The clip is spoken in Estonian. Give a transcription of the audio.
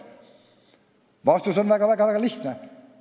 Vastus on väga-väga-väga lihtne.